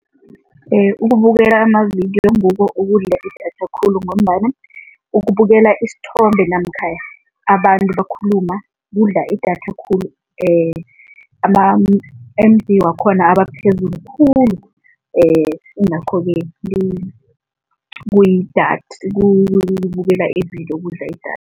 Ukubukela amavidiyo ngukho okudla idatha khulu ngombana ukubukela isithombe namkha abantu bakhuluma, kudla idatha khulu ama-M_B wakhona abaphezulu khulu yingakho-ke ukubukela ividiyo kudla idatha.